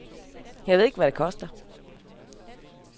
Jeg ved ikke, hvad det koster.